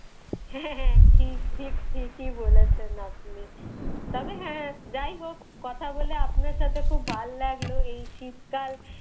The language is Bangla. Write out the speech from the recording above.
হ্যাঁ হ্যাঁ ঠিক ঠিক ঠিকই বলেছেন আপনি। তবে হ্যাঁ যাই হোক, কথা বলে আপনার সাথে খুব ভালো লাগলো। এই শীতকাল,